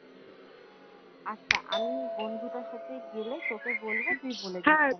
আচ্ছা আমি বন্ধুটার সাথে গেলে তোকে বলবো তুই বলে